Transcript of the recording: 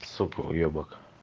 сука уебак